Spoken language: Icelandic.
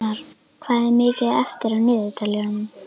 Fannar, hvað er mikið eftir af niðurteljaranum?